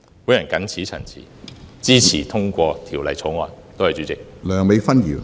我謹此陳辭，支持通過《條例草案》，多謝主席。